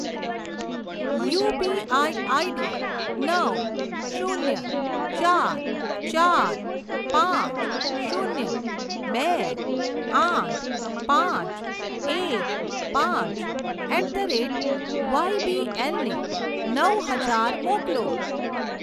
UPI ID નવ શૂન્ય ચાર ચાર પાંચ શૂન્ય બે આઠ પાંચ એક પાંચ એટ ધ રેટ વાયબીએલ ને નવ હજાર મોકલો.